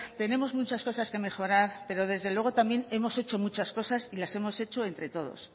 tenemos muchas cosas que mejorar pero desde luego también hemos hecho muchas cosas y las hemos hecho entre todos